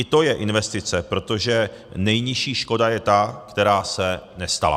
I to je investice, protože nejnižší škoda je ta, která se nestala.